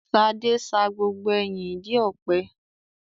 Ṣadé sa gbogbo ẹyin ìdí ọ̀pẹ.